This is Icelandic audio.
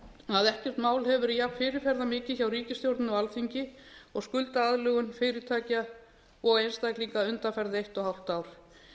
að ekkert mál hefur verið jafn fyrirferðarmikið hjá ríkisstjórninni og alþingi og skuldaaðlögun fyrirtækja og einstaklinga undanfarið eitt og hálft ár